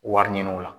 Wari ɲini o la